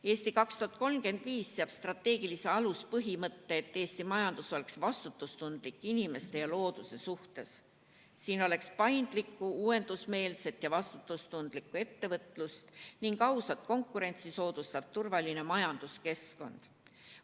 "Eesti 2035" seab strateegilise aluspõhimõtte, et Eesti majandus oleks vastutustundlik inimeste ja looduse suhtes, et siin oleks paindlik, uuendusmeelne ja vastutustundlik ettevõtlus ning ausat konkurentsi soodustav turvaline majanduskeskkond.